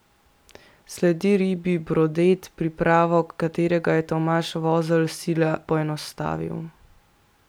Sledi ribji brodet, pripravo katerega je Tomaž Vozelj sila poenostavil.